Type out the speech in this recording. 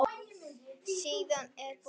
Síðan er búin til sósa.